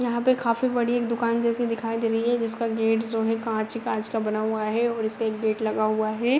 यहाँ पे काफी बड़ी एक दूकान जैसी दिखाई दे रही है जिसका गेट जो है काँच काँच का बना हुआ है और उसपे एक गेट लगा हुआ है ।